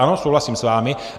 Ano, souhlasím s vámi.